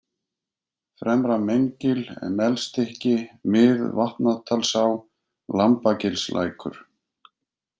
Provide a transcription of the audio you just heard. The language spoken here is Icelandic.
Fremra-Meingil, Melstykki, Mið-Vatnadalsá, Lambagilslækur